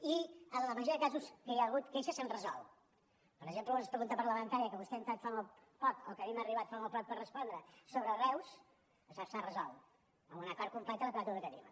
i en la majoria de casos que hi han hagut queixes s’han resolt per exemple una pregunta parlamentària que vostè ha entrat fa molt poc o que a mi m’ha arribat fa molt poc per respondre sobre reus s’ha resolt amb un acord complet en la quota educativa